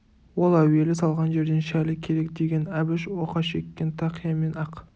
ол әуелі салған жерден шәлі керек деген әбіш оқа шеккен тақия мен ақ